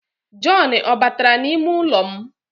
John o batara n'ime ụlọ m?